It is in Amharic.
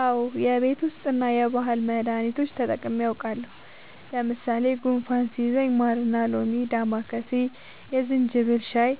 አዎ የቤት ዉስጥ እና የባህል መዳኒቶች ተጠቅሜ አዉቃለሁ። ለምሳሌ፦ ጉንፋን ሲይዘኝ ማርና ሎሚ፣ ዳማከሴ፣ የዝንጅብል ሻይ